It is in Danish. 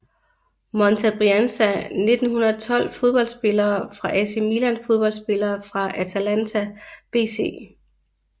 Monza Brianza 1912 Fodboldspillere fra AC Milan Fodboldspillere fra Atalanta BC